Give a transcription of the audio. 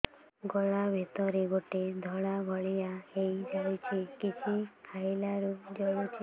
ଗଳା ଭିତରେ ଗୋଟେ ଧଳା ଭଳିଆ ହେଇ ଯାଇଛି କିଛି ଖାଇଲାରୁ ଜଳୁଛି